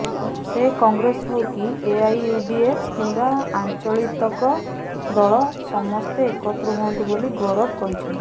ସେ କଂଗ୍ରେସ ହଉ କି ଏଆଇୟୁଡିଏଫ କିମ୍ବା ଆଞ୍ଚଳିତକ ଦଳ ସମସ୍ତେ ଏକତ୍ର ହୁଅନ୍ତୁ ବୋଲି ଗୌରବ କହିଛନ୍ତି